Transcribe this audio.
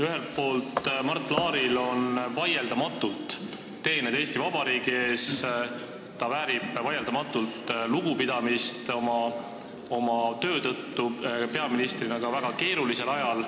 Ühelt poolt on Mart Laaril vaieldamatult teeneid Eesti Vabariigi ees, ta väärib lugupidamist oma töö tõttu peaministrina ka väga keerulisel ajal.